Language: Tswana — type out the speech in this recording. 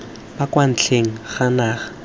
ba kwa ntle ga naga